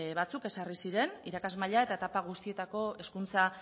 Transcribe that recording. batzuk ezarri ziren irakasmaila eta etapa guztietako hezkuntza